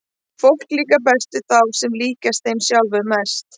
Fólki líkar best við þá sem líkjast þeim sjálfum mest.